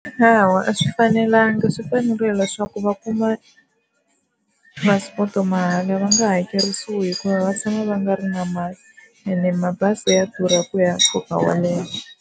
Hawa a swi fanelanga swi fanerile leswaku va kuma passport mahala va nga hakerisiwi hikuva va tshama va nga ri na mali ene mabazi ya durha ku ya nkoka wo leha.